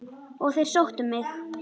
Og þeir sóttu mig.